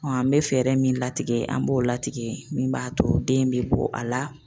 an bɛ fɛɛrɛ min latigɛ an b'o latigɛ min b'a to den bɛ bɔ a la